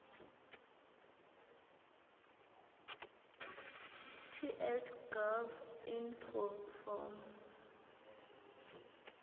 ts gov inf form